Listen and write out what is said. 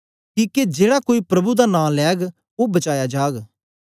किके जेड़ा कोई प्रभु दा नां लैग ओ बचाया जाग